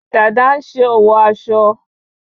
Dada ń ṣe òwò aso